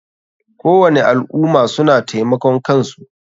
Kowani al ummah suna taimakan kansu.